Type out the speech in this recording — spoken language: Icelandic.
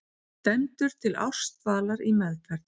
Dæmdur til ársdvalar í meðferð